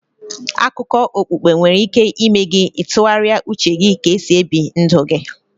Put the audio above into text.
Akụkọ okpukpe nwere ike ịme gị ị tụgharịa uche ka e si ebi ndụ gi